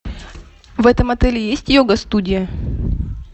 в этом отеле есть йога студия